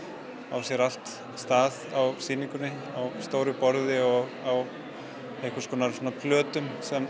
á sér allt stað á sýningunni á stóru borði og á einhvers konar plötum sem